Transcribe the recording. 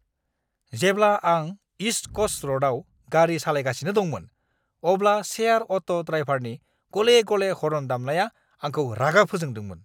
जेब्ला आं east coast र'डआव गारि सालायगासिनो दंमोन, अब्ला शेयार अट' ड्राइभारनि गले-गले हर्न दामनाया आंखौ रागा फोजोंदोंमोन!